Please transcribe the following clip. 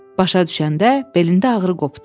Başa düşəndə belində ağrı qopdu.